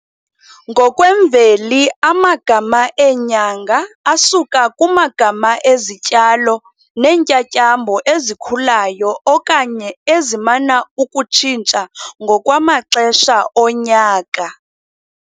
Ngokwemveli amagama eenyanga asuka kumagama ezityalo neentyatyambo ezikhulayo okanye ezimana ukutshintsha ngokwamaxesha onyaka.